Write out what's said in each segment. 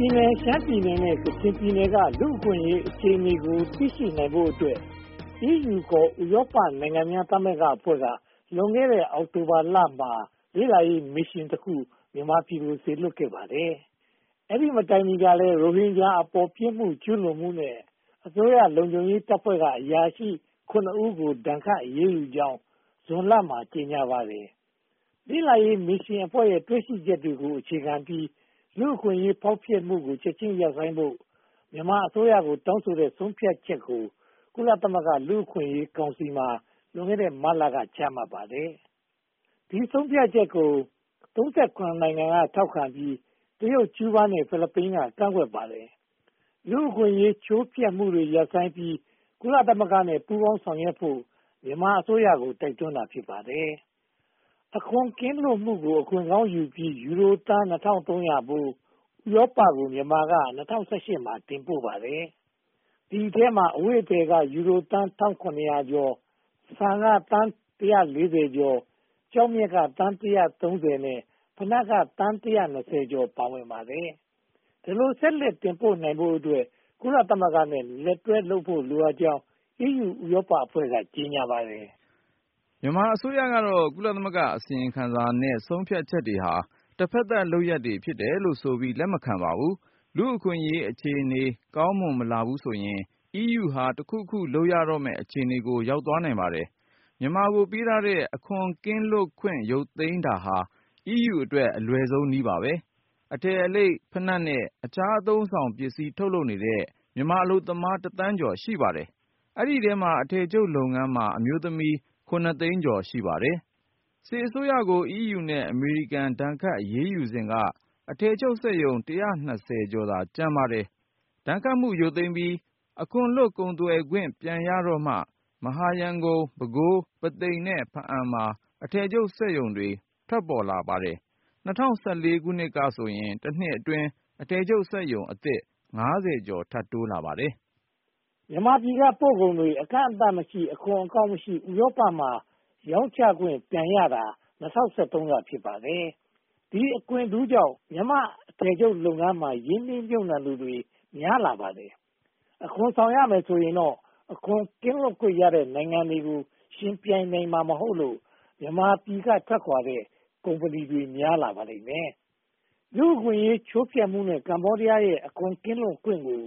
ပြည်နယ်၊ ရှမ်းပြည်နယ်နဲ့ ကချင်ပြည်နယ်က လူ့အခွင့်အရေးအခြေအနေကို သိရှိနိုင်ဖို့အတွက် EU (ခေါ်) ဥရောပနိုင်ငံများသမဂ္ဂအဖွဲ့က လွန်ခဲ့တဲ့ အောက်တိုဘာလမှာ လေ့လာရေးမစ်ရှင်တခုက မြန်မာပြည်ကို စေလွှတ်ခဲ့ပါတယ်။ အဲဒီမတိုင်မီကလည်း ရိုဟင်ဂျာအပေါ် ပြစ်မှုကျူးလွန်မှုနဲ့ အစိုးရလုံခြုံရေးတပ်ဖွဲ့က အရာရှိ (၇) ဦးကို ဒဏ်ခတ်အရေးယူနိုင်ကြောင်း ဇွန်လမှာ ကြေညာပါတယ်။ လေ့လာရေးမစ်ရှင်ရဲ့ တွေ့ရှိချက်တွေကို အခြေခံပြီး လူ့အခွင့်အရေးချိုးဖျက်မှုတွေကို ချက်ချင်းရပ်ဆိုင်းဖို့ မြန်မာအစိုးရကို တောင်းဆိုတဲ့ဆုံးဖြတ်ချက်ကို ကုလသမဂ္ဂ လူ့အခွင့်အရေးကောင်စီမှာ လွန်ခဲ့တဲ့ မတ်လက ချမှတ်ခဲ့ပါတယ်။ ဒီဆုံးဖြတ်ချက်ကို (၃၇) နိုင်ငံက ထောက်ခံပြီး၊ တရုတ်၊ ကျူးဘားနဲ့ ဖိလစ်ပိုင်က ကန့်ကွက်ပါတယ်။ လူ့အခွင့်အရေး ချိုးဖျက်မှုတွေ ရပ်ဆိုင်းပြီး ကုလသမဂ္ဂနဲ့ ပူးပေါင်းဆောင်ရွက်ဖို့ မြန်မာအစိုးရကို တိုက်တွန်းတာ ဖြစ်ပါတယ်။ အခွန်ကင်းလွတ်မှုကို အခွင့်ကောင်းယူပြီး ယူရိုသန်း (၂၃၀၀) ဖိုး ဥရောပကို မြန်မာက (၂၀၁၈) မှာ တင်ပို့လိုက်ပါတယ်။ ဒီအထဲမှာ အဝတ်အထည်က ယူရိုသန်း (၁၇၀၀) ကျော်၊ ဆန်က သန်း (၁၄၀) ကျော်၊ ကျောက်မျက်က သန်း (၁၃၀) နဲ့ ဖိနပ်က သန်း (၁၂၀) ကျော် ပါဝင်ပါတယ်။ ဒီလိုဆက်လက်တင်ပို့နိုင်ဖို့အတွက် ကုလသမဂ္ဂနဲ့ လက်တွဲဖို့ လိုအပ်ကြောင်း EU ဥရောပအဖွဲ့က ကြေညာပါတယ်။ မြန်မာအစိုးရကတော့ ကုလသမဂ္ဂအစီရင်ခံစာနဲ့ ဆုံးဖြတ်ချက်တွေဟာ တဖက်သတ်လုပ်ရပ်တွေ ဖြစ်တယ်လို့ဆိုပြီး လက်မခံပါဘူး။ လူ့အခွင့်အရေးအခြေအနေ ကောင်းမွန်မလာဘူးဆိုရင် EU က တခုခုလုပ်ရတော့မယ့် အခြေအနေကို ရောက်သွားနိုင်ပါတယ်။ မြန်မာကို ပေးထားတဲ့ အခွန်ကင်းလွတ်ခွင့် ရုတ်သိမ်းတာဟာ EU အတွက် အလွယ်ဆုံးနည်းပါ။ အထည်အလိပ်၊ ဘိနပ်နဲ့ အခြားအသုံးအဆောင်ပစ္စည်း ထုတ်လုပ်နေတဲ့ မြန်မာအလုပ်သမား တစ်သန်းကျော် ရှိပါတယ်။ ဒီအထဲမှာ အထည်ချုပ်လုပ်ငန်းမှာ အမျိုးသမီး (၇) သိန်းကျော် ရှိပါတယ်။ စစ်အစိုးရကို EU နဲ့ အမေရိကန် ဒဏ်ခတ်အရေးယူစဉ်က အထည်ချုပ်စက်ရုံ (၁၂၀) ကျော်သာ ကျန်ပါတယ်။ ဒဏ်ခတ်မှု ရုတ်သိမ်းပြီး အခွန်လွတ် ကုန်သွယ်ခွင့် ပြန်ရတော့မှ မဟာရန်ကုန်၊ ပဲခူး၊ ပုသိမ်နဲ့ ဖားအံ့မှာ အထည်ချုပ်စက်ရုံတွေ ပေါ်ထွက်လာပါတယ်။ ၂၀၁၄ ကဆိုရင် တနှစ်အတွင်း အထည်ချုပ်စက်ရုံအသစ် (၅၀) ကျော် ထပ်တိုးလာပါတယ်။ မြန်မာပြည်က ပို့ကုန်တွေ အကန့်အသတ်မရှိ၊ အခွန်အကောက်မရှိ၊ ဥရောပမှာ ရောင်းချခွင့် ပြန်ရတာ (၂၀၁၃) က ဖြစ်ပါတယ်။ ဒီအခွင့်ထူးကြောင့် မြန်မာအထည်ချုပ်လုပ်ငန်းမှာ ရင်းနှီးမြုပ်နံှသူများပြားလာပါတယ်။ အခွန်ဆောင်ရမယ်ဆိုရင်တော့ အခွန်ကင်းလွတ်ခွင့်ရတဲ့ နိုင်ငံတွေကို ယှဉ်ပြိုင်နိုင်မှာ မဟုတ်လို့ မြန်မာပြည်က ထွက်ခွါတဲ့ ကုမ္ပဏီတွေ များပြားလာပါလိမ့်မယ်။ လူ့အခွင့်အရေး ချိုးဖျက်မှုနဲ့ ကမ္ဘောဒီးယားရဲ့ အခွန်ကင်းလွတ်ခွင့်ကို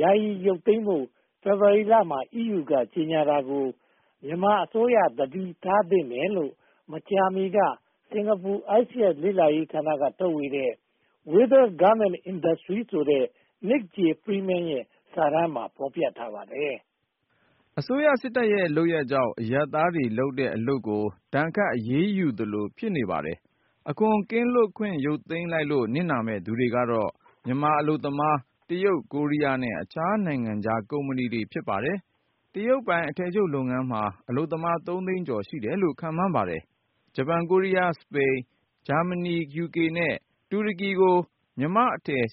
ယာယီရုတ်သိမ်းဖို့ ဖေဖေါ်ဝါရီလမှာ အီးယူက ကြေညာတာကို မြန်မာအစိုးရ သတိထားသင့်တယ်လို့ မကြာမီက စင်္ကာပူ ISEAS လေ့လာရေးဌာနက ထုတ်ဝေတဲ့ Whither Garment Industry ဆိုတဲ့ Nick J. Freeman ရဲ့ စာတမ်းမှာ ဖော်ပြထားပါတယ်။ အစိုးရစစ်တပ်ရဲ့ လုပ်ရပ်ကြောင့် အရပ်သားတွေလုပ်တဲ့ အလုပ်ကို ဒဏ်ခတ်အရေးယူသလို ဖြစ်နေပါတယ်။ အခွန်ကင်းလွတ်ခွင့် ရုတ်သိမ်းလိုက်လို့ နစ်နာမယ့်သူတွေကတော့ မြန်မာအလုပ်သမား၊ တရုတ်၊ ကိုရီးယားနဲ့ အခြားနိုင်ငံခြားကုမ္ပဏီတွေ ဖြစ်ပါတယ်။ တရုတ်ပိုင် အထည်ချုပ်လုပ်ငန်းမှာ အလုပ်သမား (၃) သိန်းကျော် ရှိတယ်လို့ ခန့်မှန်းပါတယ်။ ဂျပန်၊ ကိုရီးယား၊ စပိန်၊ ဂျာမဏီ၊ ယူကေ နဲ့ တူရကီတို့ကို မြန်မာ့အထည် (၈၅)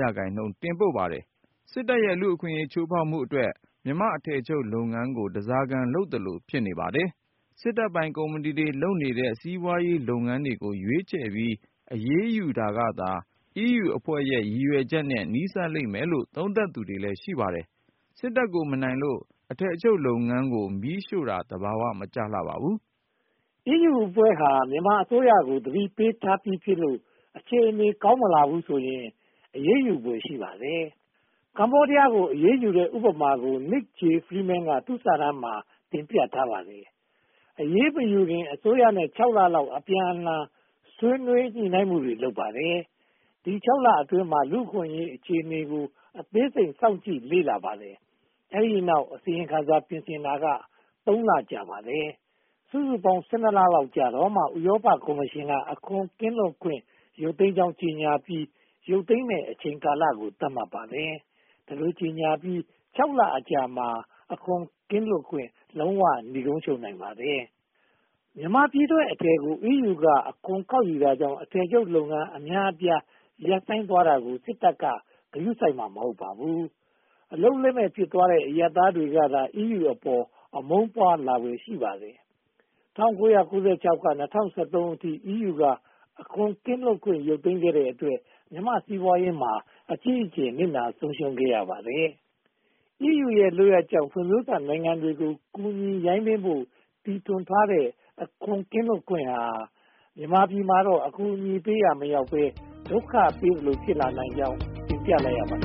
ရာခိုင်နှုန်း တင်ပို့ပါတယ်။ စစ်တပ်ရဲ့ လူ့အခွင့်အရေး ချိုးဖျက်မှုအတွက် မြန်မာ့အထည်ချုပ်လုပ်ငန်းကို ဓါးစားခံလုပ်သလို ဖြစ်နေပါတယ်။ စစ်တပ်ပိုင် ကုမ္ပဏီတွေ လုပ်နေတဲ့ စီးပွားရေးလုပ်ငန်းတွေကို ရွေးချယ်ပြီး အရေးယူတာကသာ အီးယူအဖွဲ့ရဲ့ ရည်ရွယ်ချက်နဲ့ နီးစပ်လိမ့်မယ်လို့ သုံးသပ်သူလည်း ရှိပါတယ်။ စစ်တပ်ကို မနိုင်လို့ အထည်ချုပ်လုပ်ငန်း မီးရှို့တာ သဘာဝ မကျပါဘူး။ အီးယူအဖွဲ့ဟာ မြန်မာအစိုးရကို သတိပေးထားပြီးဖြစ်လို့ အခြေအနေ ကောင်းမလာဘူးဆိုရင် အရေးယူဖွယ် ရှိပါတယ်။ ကမ္ဘောဒီးယားကို အရေးယူတဲ့ ဥပမာကို Nick J. Freeman က သူ့စာတမ်းမှာ တင်ပြထားပါတယ်။ အရေးမယူခင် အစိုးရနဲ့ (၆) လလောက် အပြန်အလှန် ဆွေးနွေးညှိနှိုင်းမှုတွေ လုပ်ပါတယ်။ ဒီ (၆) လအတွင်းမှာ လူ့အခွင့်အရေးအခြေအနေကို အသေးစိတ် စောင့်ကြည့်လေ့လာပါတယ်။ အဲဒီတောက် အစီရင်ခံစာ ပြင်ဆင်တာက (၃) လ ကြာပါတယ်။ စုစုပေါင်း (၁၂) လလောက်ကြာတော့မှ ဥရောပကော်မရှင်က အခွန်ကင်းလွတ်ခွင့် ရုတ်သိမ်းကြောင်း ကြေညာပြီး ရုတ်သိမ်းမယ့် အချိန်ကာလကို သတ်မှတ်ပါတယ်။ ဒီလိုကြေညာပြီး (၆) လအကြာမှာ အခွန်ကင်းလွတ်ခွင့် နိဂုံးချုပ်နိုင်ပါတယ်။ မြန်မာပြည်ထုတ်အထည်များကို အီးယူက အခွန်ကောက်ယူတာကြောင့် အထည်ချုပ်လုပ်ငန်း အများအပြား ရပ်ဆိုင်းသွားတာကို စစ်တပ်က ဂရုစိုက်မှာ မဟုတ်ပါဘူး။ အလုပ်လက်မဲ့ ဖြစ်သွားတဲ့ အရပ်သားကသာ အီးယူအပေါ် အမုန်းပွားလာဖွယ် ရှိပါတယ်။ ၁၉၉၆ ကနေ ၂၀၁၃ အထိ အီးယူက အခွန်ကင်းလွတ်ခွင့် ရုတ်သိမ်းခဲ့တဲ့အတွက် မြန်မာ့စီးပွားရေးမှာ အကြီးအကျယ် နစ်နာဆုံးရှုံးခဲ့ရပါတယ်။ အီးယူရဲ့ လုပ်ရပ်ကြောင့် ဖွံ့ဖြိုးစနိုင်ငံတွေကို ကူညီရိုင်းပင်းဖို့ တီထွင်ထားတဲ့ အခွန်ကင်းလွတ်ခွင့်ဟာ မြန်မာပြည်မှာတော့ အကူအညီပေးရာ မရောက်ဘဲ ဒုက္ခပေးသလို ဖြစ်လာနိုင်ကြောင်း တင်ပြလိုက်ရပါတ